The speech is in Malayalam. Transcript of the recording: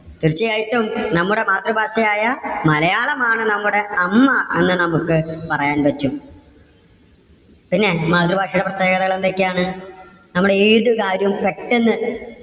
തീർച്ചയായിട്ടും നമ്മുടെ മാതൃഭാഷയായ മലയാളം ആണ് നമ്മുടെ അമ്മ എന്ന് നമുക്ക് പറയാൻ പറ്റും. പിന്നെ മാതൃഭാഷയുടെ പ്രത്യേകതകൾ എന്തൊക്കെയാണ്? നമ്മളേതു കാര്യവും പെട്ടെന്ന്